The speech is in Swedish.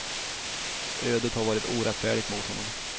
Ödet har varit orättfärdigt mot honom.